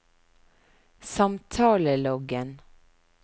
samtaleloggen